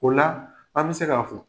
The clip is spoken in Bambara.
O la , an bi se ka fɔ